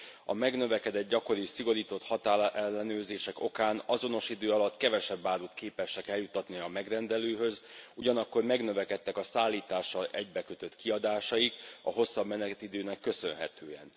A megnövekedett, gyakori, szigorított határellenőrzések okán azonos idő alatt kevesebb árut képesek eljuttatni a megrendelőhöz, ugyanakkor megnövekedtek a szállítással egybekötött kiadásaik a hosszabb menetidőnek köszönhetően.